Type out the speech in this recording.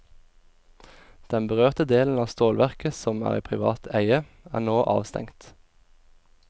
Den berørte delen av stålverket, som er i privat eie, er nå avstengt.